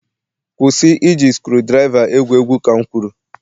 kwụsị iji screwdriver egwu egwu. Ka m kwuru